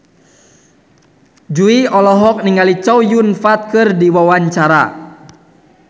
Jui olohok ningali Chow Yun Fat keur diwawancara